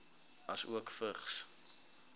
asook vigs